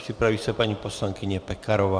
Připraví se paní poslankyně Pekarová.